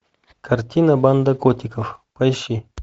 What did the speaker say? картина банда котиков поищи